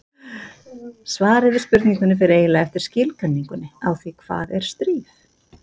Svarið við spurningunni fer eiginlega eftir skilgreiningunni á því hvað er stríð.